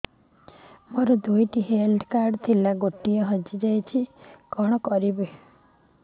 ମୋର ଦୁଇଟି health card ଥିଲା ଗୋଟିଏ ହଜି ଯାଇଛି କଣ କରିବି